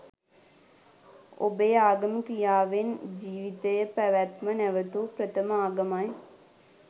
ඔබේ ආගම ක්‍රියාවෙන් ජීවිතය පැවැත්ම නැවතූ ප්‍රථම ආගමයි